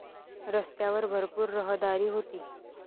रस्त्यावर भरपूर रहदारी होती.